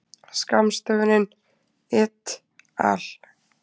Skammstöfunin et al.